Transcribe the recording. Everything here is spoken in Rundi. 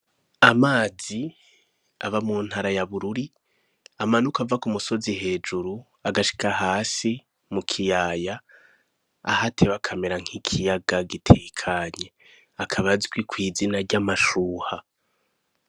Amazi aba mu ntara ya Bururi amanuka ava ku musozi hejuru, agashika hasi mu kiyaya aho ateba akamera nk'ikiyaga gitekanye. Akaba azwi kw'izina ry'amashuha.